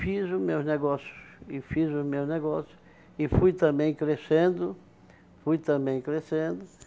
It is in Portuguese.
Fiz os meus negócios, e fiz os meus negócios, e fui também crescendo, fui também crescendo.